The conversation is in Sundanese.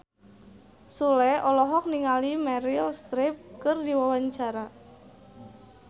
Sule olohok ningali Meryl Streep keur diwawancara